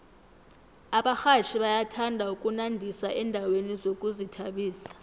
abarhatjhi bayathanda ukunandisa endaweni zokuzithabisa